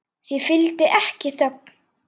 Því fylgdi ekki þögn.